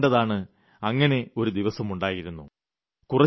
നിങ്ങൾ കണ്ടതാണ് അങ്ങിനെ ഒരു ദിവസമുണ്ടായിരുന്നു